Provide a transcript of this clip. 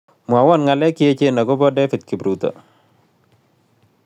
Mwawon ng'alek che echen agoboo david kipruto